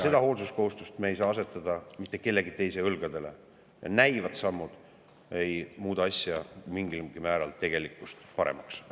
Seda hoolsuskohustust ei saa me asetada mitte kellegi teise õlgadele ja näilikud sammud ei muuda asja ega tegelikkust mingilgi määral paremaks.